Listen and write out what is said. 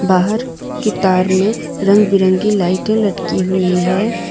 बाहर की तार में रंग बिरंगी लाइटें लटकी हुई है।